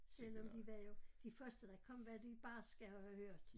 Selvom de var jo de første der kom var de barske har jeg hørt